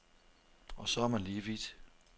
Og så er man lige vidt.